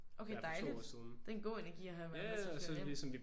Okay dejligt. Det er en god energi at have og sådan føre ind